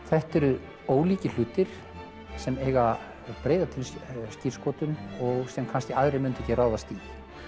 þetta eru ólíkir hlutir sem eiga breiða skírskotun og sem kannski aðrir myndu ekki ráðast í